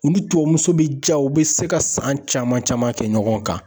U ni tubabumuso be ja, u be se ka san caman caman kɛ ɲɔgɔn kan.